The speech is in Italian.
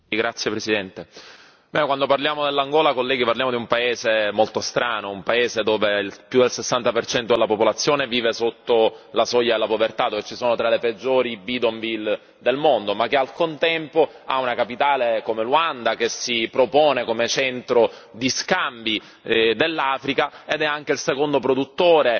Signor Presidente, onorevoli colleghi, quando parliamo dell'Angola, colleghi, parliamo di un paese molto strano, di un paese dove più del 60 della popolazione vive sotto la soglia di povertà, dove ci sono tra le peggiori bidonville del mondo, ma che al contempo ha una capitale come Ruanda, che si ripropone come centro di scambi dell'Africa, ed è anche il secondo produttore